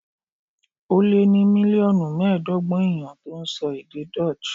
Ó lé ní mílíọ̀nù mẹ́ẹ̀ẹ́dọ́gbọ̀n èèyàn tó ń sọ èdè Dutch